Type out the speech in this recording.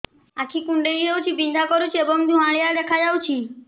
ଆଖି କୁଂଡେଇ ହେଉଛି ବିଂଧା କରୁଛି ଏବଂ ଧୁଁଆଳିଆ ଦେଖାଯାଉଛି